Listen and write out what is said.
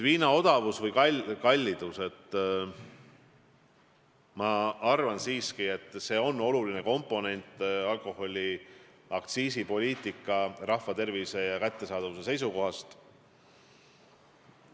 Viina odavus või kallidus, ma arvan siiski, on alkoholiaktsiisipoliitika oluline komponent alkoholi kättesaadavuse ja rahva tervise seisukohast.